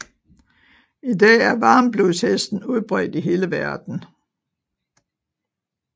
I dag er varmblodshesten udbredt i hele verden